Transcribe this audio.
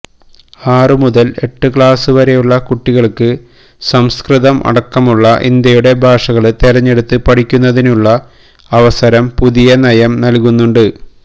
ആറു മുതല് എട്ടു ക്ലാസുവരെയുള്ള കുട്ടികള്ക്ക് സംസ്കൃതം അടക്കമുള്ള ഇന്ത്യയുടെ ഭാഷകള് തെരഞ്ഞെടുത്ത് പഠിക്കുന്നതിനുള്ള അവസരം പുതിയ നയം നല്കുന്നുണ്ട്